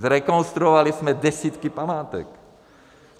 Zrekonstruovali jsme desítky památek.